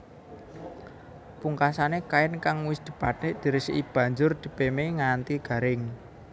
Pungkasané kain kang wis dibatik diresiki banjur dipémé nganti garing